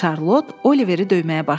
Şarlot Oliveri döyməyə başladı.